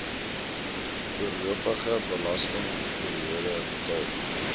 voorlopige belastingperiode betaal